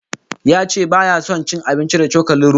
Ya ce baya son cin abinci da cokalin roba